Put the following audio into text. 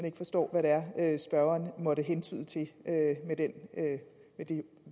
ikke forstår hvad det er spørgeren måtte hentyde til med det